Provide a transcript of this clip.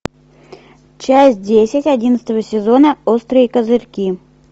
часть десять одиннадцатого сезона острые козырьки